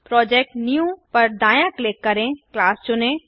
project new पर दाय़ाँ click करें क्लास चुनें